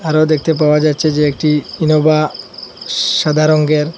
আরো দেখতে পাওয়া যাচ্ছে যে একটি ইনোভা সাদা রংগের।